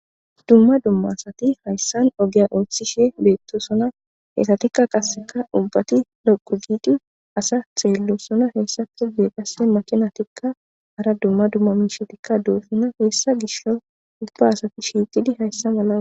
Dumma dumma asati hayssan ogiya ooththishe beettosona hetatikka kasseka ubbati roqugidi asa xeello sona heessafe dee qase makina tikka ara dumma dumma miishetikka doesona heessa gisho ubba asati shiiqidi hayssa mala.